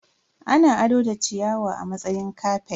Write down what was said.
Ana ado da ciyawa a matsayin kafet.